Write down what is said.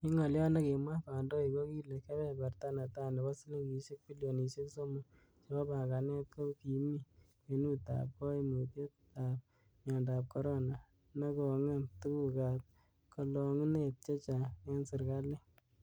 En ngolyot nekimwa kondoik kokile kebeberta netai nebo silingisiek bilionisiek somok chebo panganet ko kimi kwenutab koimutiet ab miondab corona, nekongem tuguk ab kolongunet chechang en serkalit.